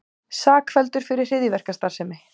Sakfelldur fyrir hryðjuverkastarfsemi